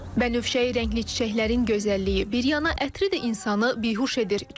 Mən nəvşəyi rəngli çiçəklərin gözəlliyi bir yana, ətri də insanı bihuş edir.